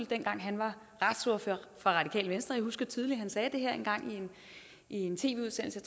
dengang han var retsordfører for radikale venstre jeg husker tydeligt at han sagde det her en gang i en tv udsendelse